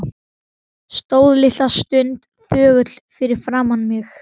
Stóð litla stund þögull fyrir framan mig.